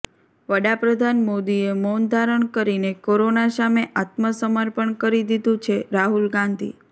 વડાપ્રધાન મોદીએ મૌન ધારણ કરીને કોરોના સામે આત્મસમર્પણ કરી દીધું છેઃ રાહુલ ગાંધી